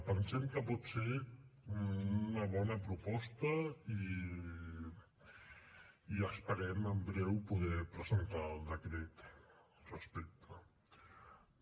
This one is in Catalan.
pensem que pot ser una bona proposta i esperem en breu poder presentar el decret respecte a això